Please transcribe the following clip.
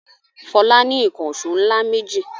Fọlá ní ìkànṣó ńlá méjì.